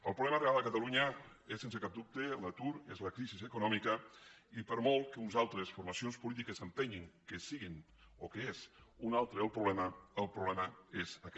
el problema real a catalunya és sense cap dubte l’atur és la crisi econòmica i per molt que unes altres formacions polítiques insisteixin que sigui o que és un altre el problema el problema és aquest